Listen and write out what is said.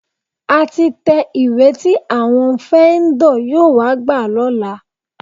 A ti tẹ ìwé tí àwọn fẹ́ńdọ̀ yóò wá gbà lọ́la.